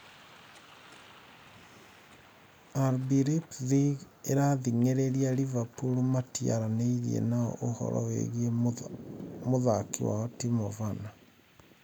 (kiumia) RB Leipzig ĩrathĩng’ĩrĩria Liverpool matiaranĩirie nao ũhoro wĩgiĩ mũthaki wao Timo Werner.